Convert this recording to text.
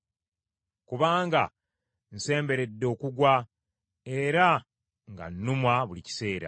Kubanga nsemberedde okugwa, era nga nnumwa buli kiseera.